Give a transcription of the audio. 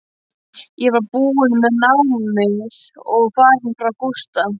Ég var búin með námið og farin frá Gústa.